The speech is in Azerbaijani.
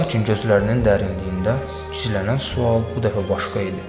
Lakin gözlərinin dərinliyində gizlənən sual bu dəfə başqa idi.